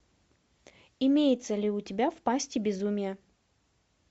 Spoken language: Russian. имеется ли у тебя в пасти безумия